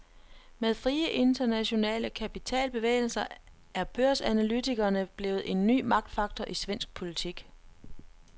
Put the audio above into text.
Med frie internationale kapitalbevægelser er børsanalytikerne blevet en ny magtfaktor i svensk politik.